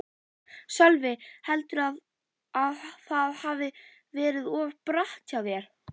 Sölvi: Heldurðu að það hafi verið of bratt hjá þér?